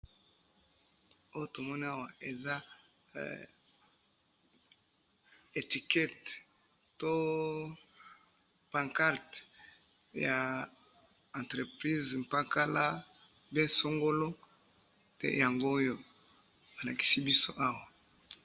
oyo tomoni awa eza hee etiquette to pancarte ya entreprise pakala pe songolo nde yangoyo balakisi biso awa